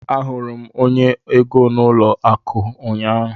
Ahụrụ m onye ego n'ụlọ akụ ụnyaahụ.